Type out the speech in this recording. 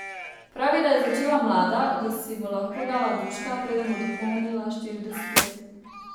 Pravi, da je začela mlada, da si bo lahko dala duška, preden bo dopolnila štirideset let.